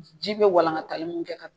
Ji bɛ walankatali min kɛ ka.